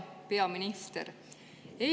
Hea peaminister!